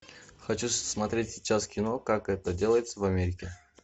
хочу смотреть сейчас кино как это делается в америке